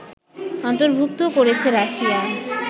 অন্তর্ভুক্তও করেছে রাশিয়া